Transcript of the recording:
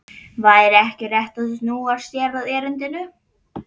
Væri ekki réttast að snúa sér að erindinu?